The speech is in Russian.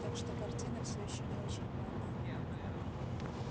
так что картина всё ещё не очень полна